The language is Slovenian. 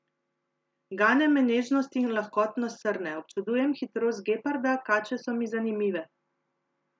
Gane me nežnost in lahkotnost srne, občudujem hitrost geparda, kače so mi zanimive.